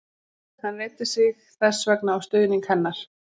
Hann reiddi sig þess vegna á stuðning hennar.